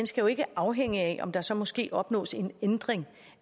skal jo ikke afhænge af om der så måske opnås en ændring